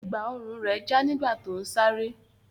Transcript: Ẹ̀gbá-ọrùn rẹ̀ já nígbà tó ń sáré.